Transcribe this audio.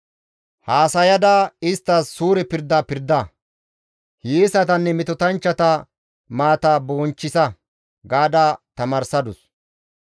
Haasayada isttas suure pirda pirda; hiyeesatanne metotanchchata maata bonchchisa» gaada tamaarsadus.